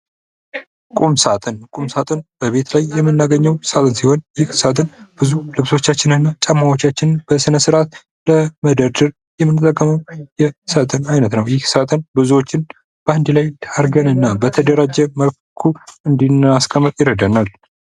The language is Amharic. ቁም ሳጥን ቁም ሳጥን በቤት ላይ የምናገኘው ሳጥን ሲሆን ይህ ሳጥን ብዙ ልብሶቻችንን ጫማዎቻችንን በስነስርዓት ለመደርደር የምንጠቀመው የሳጥን አይነት ነው ይህ ሳጥን ብዙዎችን በአንድ ላይ አድርገንና በተደራጀ መልኩ እንድናስቀምጥ ይረዳናል።